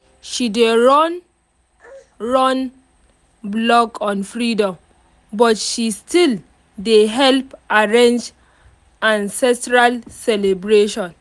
she dey runrun blog on freedom but she still dey help arrange ancestral celebration